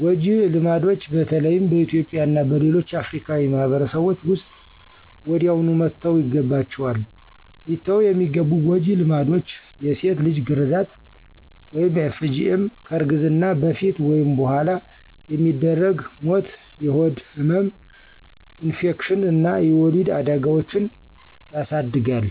ጎጀ ልማድች በተለይም በእትዩጵያ እና በሌሎች አፍርካዊ ማህበርሰቦች ዉስጥ ወዲያውኑ መተውይገባችዋል። ሊተዉ የሚገቡ ጎጂ ልማዶች የሴት ልጅ ግራዛት (FGM) ከእርግዝና በፈት ወይም በኋላ የሚደረግ ዉድ ሞት፣ የሆድ ህመም፣ ኢንፌክሽን አና የወሊድ አዳጋዎችን የስድጋል